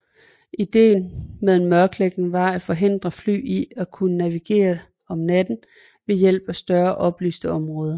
Idéen ved en mørklægning var at forhindre fly i at kunne navigere om natten ved hjælp af større oplyste områder